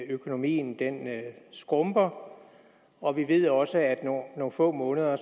økonomien skrumper og vi ved også at om nogle få måneder